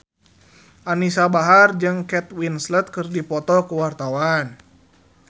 Anisa Bahar jeung Kate Winslet keur dipoto ku wartawan